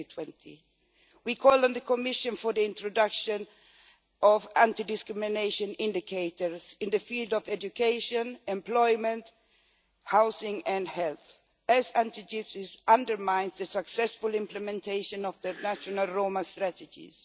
2020. We call on the Commission for the introduction of anti discrimination indicators in the field of education, employment, housing and health, as anti Gypsyism undermines the successful implementation of the national Roma strategies.